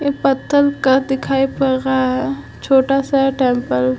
एक पतथल का दिखाई पड़ रहा है छोटा-सा टेम्पल --